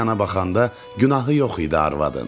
Bir yana baxanda günahı yox idi arvadın.